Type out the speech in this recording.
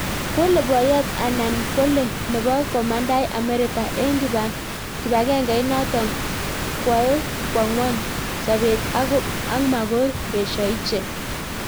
Kole boyot Annan kole nebo komandai Amerika eng kipagengeit notok kwae kwao ngwony sabet ak makoo esha ichek